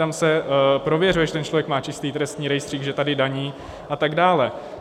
Tam se prověřuje, že ten člověk má čistý trestní rejstřík, že tady daní a tak dále.